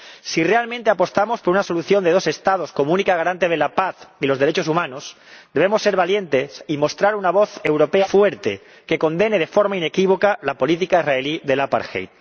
Si realmente apostamos por una solución de dos Estados como única garante de la paz y los derechos humanos, debemos ser valientes y mostrar una voz europea única y fuerte, que condene de forma inequívoca la política israelí del apartheid